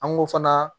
An go fana